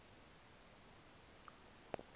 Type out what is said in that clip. ngo a udla